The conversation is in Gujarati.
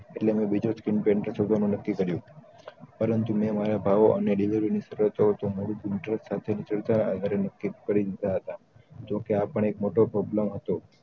એટલે બે બીજો screen painter શોધવાનું નક્કી કર્યું પરંતુ મેં વાયા ભાવ અને screen painter સાથે નક્કી ક્રરી દીધા હતા જો કે આ પણ એક problem હતો